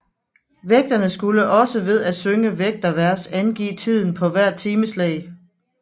Vægterne skulle også ved at synge vægtervers angive tiden på hvert timeslag